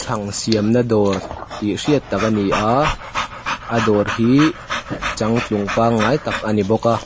chhang siamna dawr tih hriat tak a ni a a dawr hi changtlung pangngai tak a ni bawk a--